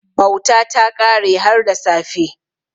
Bauta ta kare har da safe.